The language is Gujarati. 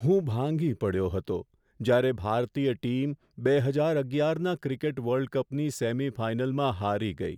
હું ભાંગી પડ્યો હતો જ્યારે ભારતીય ટીમ બે હજાર અગિયારના ક્રિકેટ વર્લ્ડ કપની સેમિફાઇનલમાં હારી ગઈ.